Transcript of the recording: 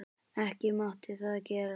Ekki mátti það gerast.